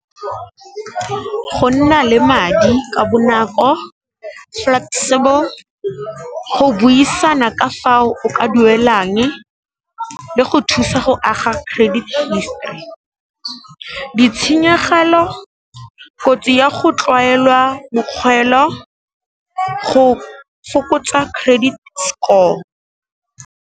Go nna le madi ka bonako, flexible, go buisana ka fao o ka duelang le go thusa go aga credit history. Ditshenyegelo, kotsi ya go tlwaelwa mokgoelo go fokotsa credit score.